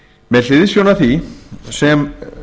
með hliðsjón af því sem